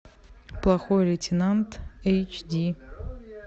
плохой лейтенант эйч ди